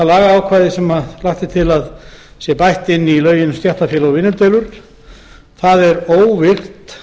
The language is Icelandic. lagaákvæðið sem lagt er til að bætt sé inn í lögin um stéttarfélög og